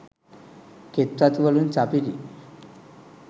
කෙත් වතු වලින් සපිරි